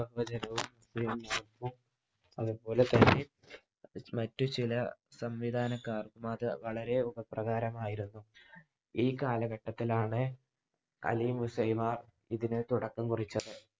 അതുപോലെ മറ്റുചില സംവിധാനം കാരണം അത് വളരെ ഉപകാരപ്രദം ആയിരുന്നു. ഈ കാലഘട്ടത്തിലാണ് അലി മുസൈവ ഇതിനു തുടക്കം കുറിച്ചത്.